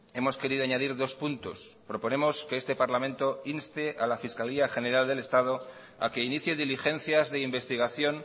hemos querido añadir dos puntos proponemos que este parlamento inste a la fiscalía general del estado a que inicie diligencias de investigación